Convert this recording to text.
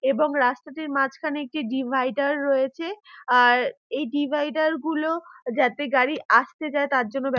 এবং রাস্তাটির মাঝখানে একটি ডিভাইডার রয়েছে আর এই ডিভাইডার গুলো যাতে গাড়ি আস্তে যায় তার জন্য ব্য--